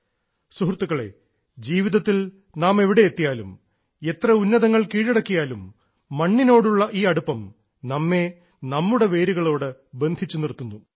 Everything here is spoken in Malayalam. സുഹൃത്തുക്കളേ ജീവിതത്തിൽ നാം എവിടെ എത്തിയാലും എത്ര ഉന്നതങ്ങൾ കീഴടക്കിയാലും മണ്ണിനോടുള്ള ഈ അടുപ്പം നമ്മേ നമ്മുടെ വേരുകളോട് ബന്ധിച്ചു നിർത്തുന്നു